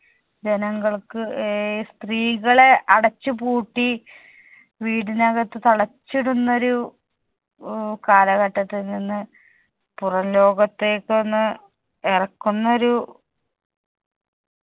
ജനങ്ങൾക്ക് ഏർ സ്ത്രീകളെ അടച്ച് പൂട്ടി വീടിനകത്ത് തളച്ചിടുന്നോരു കാലഘട്ടത്തിൽ നിന്ന് പുറം ലോകത്തേക്കൊന്ന് ഏറക്കുന്നൊരു